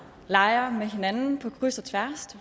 leger med hinanden på kryds og tværs